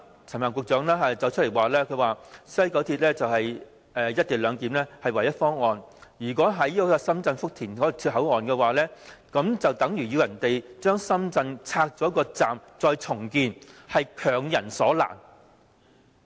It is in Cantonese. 陳帆局長表示，西九龍站"一地兩檢"是唯一的方案，如果在深圳福田站設置口岸，等於要求人家把深圳站拆卸重建，是強人所難。